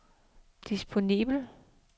disponibel